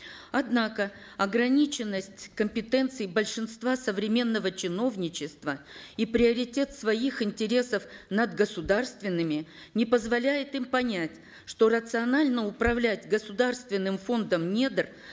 однако ограниченность компетенции большинства современного чиновничества и приоритет своих интересов над государственными не позволяет им понять что рационально управлять государственным фондом недр